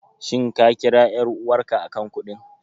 Shin ka kira ƴar'uwarka a kan kuɗin?